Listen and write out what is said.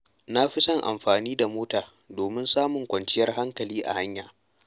Na fi son amfani da mota domin samun kwanciyar hankali a hanya.